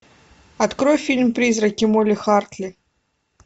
открой фильм призраки молли хартли